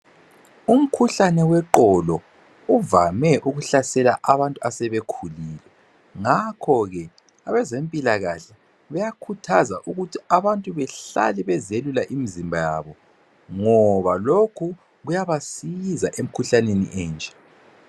Umkhuhlane weqolo uvame ukuhlasela abantu asebekhulile. Ngakhoke, abezempilakahle bayakhuthaza ukuthi abantu bahlale bezelula imizimba yabo ngoba lokhu kuyabasiza emkhuhlaneni enje.